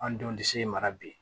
An denw disi mara bi